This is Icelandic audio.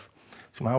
sem hafa